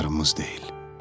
yarımız deyil.